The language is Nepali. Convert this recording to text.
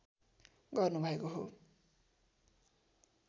गर्नुभएको हो